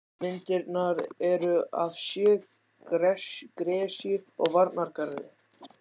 Myndirnar eru af sjó, gresju og varnargarði.